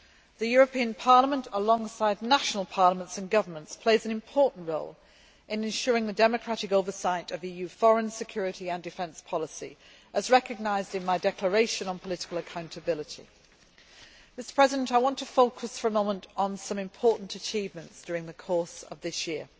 The European Parliament, alongside national parliaments and governments, plays an important role in ensuring the democratic oversight of EU foreign, security and defence policy, as recognised in my declaration on political accountability. I want to focus for a moment on some important achievements during the course of this year.